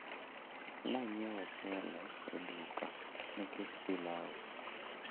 Nanyiewo ochelo e duka nikech pilau